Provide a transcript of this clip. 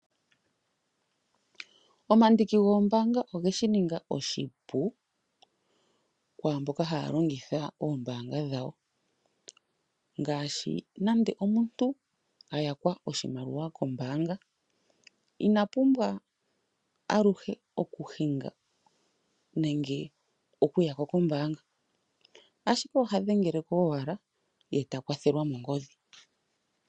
Omandiki goombanga oge shi ninga oshipu kwaamboka haa longitha oombaanga dhawo. Ngaashi nande omuntu a yakwa oshimaliwa koombanga, ina pumbwa aluhe oku hinga nenge oku yako koombanga, ashike oha dhengele ko owala ye ta kwathelwa mongodhi.